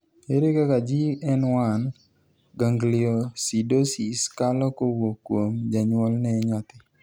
ere kaka GN1 gangliosidosis kalo kowuok kuom janyuol ne nyathi